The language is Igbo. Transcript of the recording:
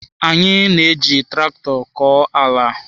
Anyị na-eji traktọ kọọ ala.